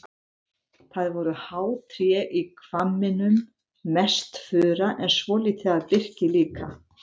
Það voru há tré í hvamminum, mest fura en svolítið af birki líka.